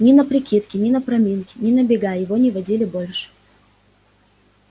ни на прикидки ни на проминки ни на бега его не водили больше